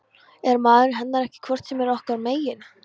Er maðurinn hennar ekki hvort sem er okkar megin?